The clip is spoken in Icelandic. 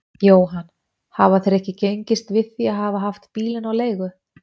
Jóhann: Hafa þeir ekki gengist við því að hafa haft bílinn á leigu?